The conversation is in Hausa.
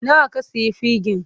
Nawa ka sayi fegin?